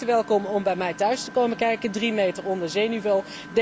Hij is van harte welkom om bij mij thuis te komen kijken, drie meter onder zeeniveau.